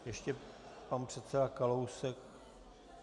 Ještě pan předseda Kalousek?